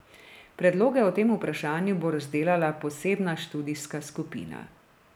Predloge o tem vprašanju bo razdelala posebna študijska skupina.